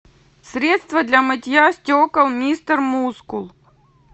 средство для мытья стекол мистер мускул